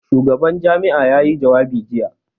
Shugaban jami'a ya yi jawabi jiya.